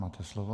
Máte slovo.